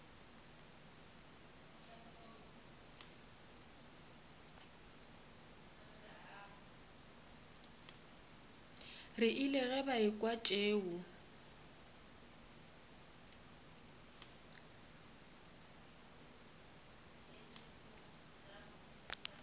rile ge ba ekwa tšeo